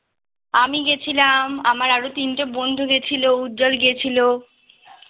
আমি গেছিলাম আমার আরো তিনটে বন্ধু গেছিলো উজ্জ্বল গেছিলো